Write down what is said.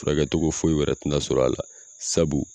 Fura kɛcogo foyi wɛrɛ tɛ na sɔrɔ a la sabu